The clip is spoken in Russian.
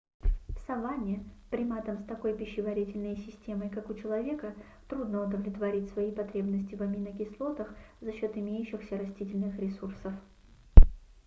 в саванне приматам с такой пищеварительной системой как у человека трудно удовлетворить свои потребности в аминокислотах за счёт имеющихся растительных ресурсов